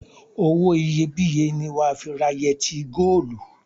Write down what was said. Owó iyebíye ni wà á fi ra yẹtí góólù.